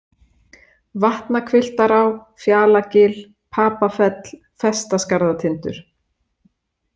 Vatnahvilftará, Fjalagil, Papafell, Festaskarðatindur